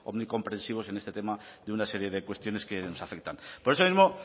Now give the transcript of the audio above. muy comprensivos en este tema de una serie de cuestiones que nos afectan por eso mismo